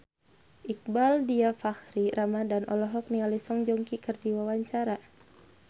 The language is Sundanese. Iqbaal Dhiafakhri Ramadhan olohok ningali Song Joong Ki keur diwawancara